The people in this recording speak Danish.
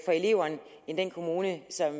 eleverne end den kommune som